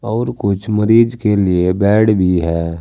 और कुछ मरीज के लिए बेड भी है।